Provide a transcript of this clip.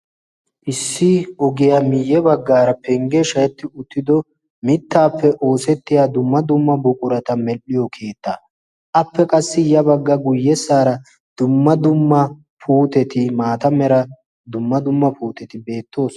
issi ogiyaa miyye baggaara penggee shayetti uttido mittaappe oosettiya dumma dumma buqurata medhdhiyo keitta appe qassi ya bagga guyyessaara dumma dumma puuteti maata mera dumma dumma puuteti beettoos.